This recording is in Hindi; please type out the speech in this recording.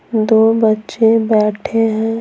दो बच्चे बैठे हैं।